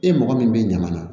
E mɔgɔ min bɛ ɲaman na